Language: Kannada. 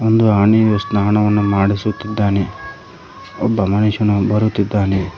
ಒಂದು ಆನೆಗೆ ಸ್ನಾನವನ್ನು ಮಾಡಿಸುತ್ತಿದ್ದಾನೆ ಒಬ್ಬ ಮನುಷ್ಯನು ಬರುತ್ತಿದ್ದಾನೆ.